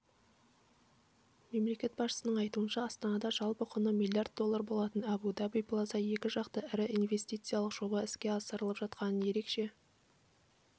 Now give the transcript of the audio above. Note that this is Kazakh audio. мемлекет басшысының айтуынша астанада жалпы құны млрд доллар болатын абу даби плаза екі жақты ірі инвестициялық жобасы іске асырылып жатқанын ерекше